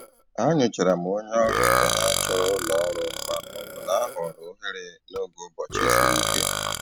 Ha nyochara ma onye ọrụ ibe ha chọrọ ụlọ ọrụ ma ọ bụ na-ahọrọ ohere n'oge ụbọchị siri ike.